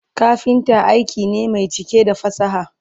kafinta aiki ne Mai cike da fasaha